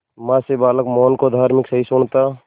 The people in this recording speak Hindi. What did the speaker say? मां से बालक मोहन को धार्मिक सहिष्णुता